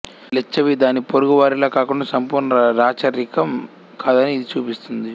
లిచ్ఛవి దాని పొరుగువారిలా కాకుండా సంపూర్ణ రాచరికం కాదని ఇది చూపిస్తుంది